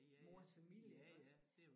Mors familie også